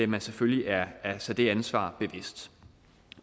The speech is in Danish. man selvfølgelig er sig det ansvar bevidst